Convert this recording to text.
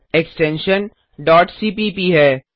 extension dot CPP है